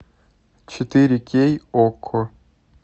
четыре кей окко